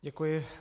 Děkuji.